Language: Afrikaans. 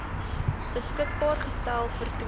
beskikbaar gestel vertoon